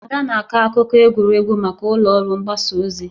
Ada na-akọ akụkọ egwuregwu maka ụlọ ọrụ mgbasa ozi.